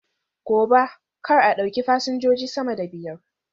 Gobe, kar a ɗauki fasinjoji sama da biyar!